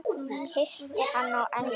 Kyssti hana á ennið.